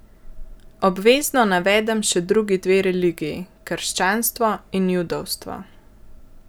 Obvezno navedem še drugi dve religiji, krščanstvo in judovstvo.